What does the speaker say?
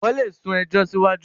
wón lè sún ejò siwaju.